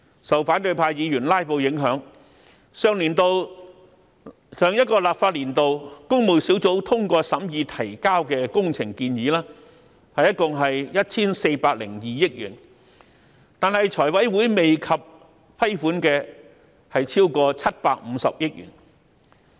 受反對派議員"拉布"影響，上一個立法年度，工務小組委員會通過審議提交的工程建議，一共 1,402 億元，但財委會未及批款的則超過750億元。